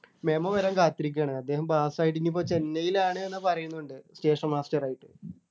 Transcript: memo വരാൻ കാത്തിരിക്കുകയാണ് അദ്ദേഹം pass ആയിട്ട് ഇനിയിപ്പോ ചെന്നൈയിലാണ് ന്നു പറയുന്നുണ്ട് station master ആയിട്ട്